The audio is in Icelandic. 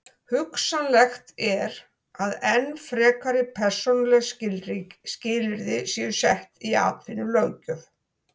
Hugsanlegt er að enn frekari persónuleg skilyrði séu sett í atvinnulöggjöf.